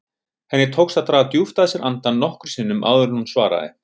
Henni tókst að draga djúpt að sér andann nokkrum sinnum áður en hún svaraði.